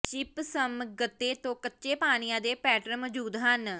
gypsum ਗੱਤੇ ਤੋਂ ਕੱਚੇ ਪਾਣੀਆਂ ਦੇ ਪੈਟਰਨ ਮੌਜੂਦ ਹਨ